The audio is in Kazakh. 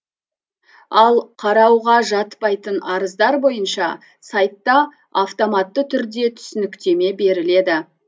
ал қарауға жатпайтын арыздар бойынша сайтта автоматты түрде түсініктеме беріледі